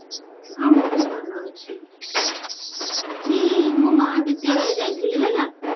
ହଁ ମୁଁ ବି ଭଲ ଅଛି ଆଜି ମୁଁ ମହାବିଦ୍ୟାଳୟ ଯାଇଥିଲି ହେଲା